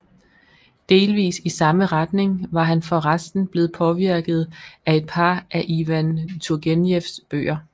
Delvis i samme retning var han for resten blevet påvirket af et par af Ivan Turgenjevs bøger